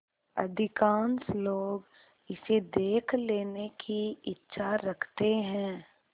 अधिकांश लोग इसे देख लेने की इच्छा रखते हैं